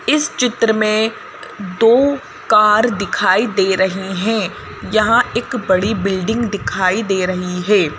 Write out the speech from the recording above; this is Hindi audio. इस चित्र में दो का दिखाई दे रही हैं यहां एक बड़ी बिल्डिंग दिखाई दे रही है।